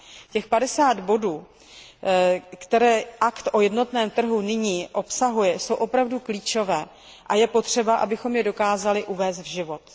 Těch padesát bodů, které Akt o jednotném trhu nyní obsahuje jsou opravdu klíčové a je potřeba, abychom je dokázali uvést v život.